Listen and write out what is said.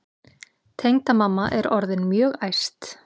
Tengdamamma er orðin mjög æst.